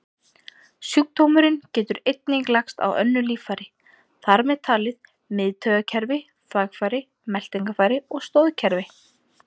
Sjúkdómurinn getur einnig lagst á önnur líffæri, þar með talið miðtaugakerfi, þvagfæri, meltingarfæri og stoðkerfi.